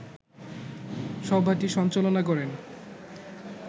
সভাটি সঞ্চালনা করেন